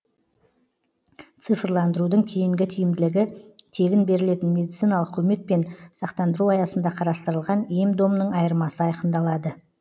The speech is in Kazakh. цифрландырудың кейінгі тиімділігі тегін берілетін медициналық көмек пен сақтандыру аясында қарастырылған ем домның айырмасы айқындалады